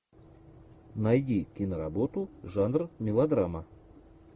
найди киноработу жанр мелодрама